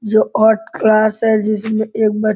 जो art class है जिसमें एक ब --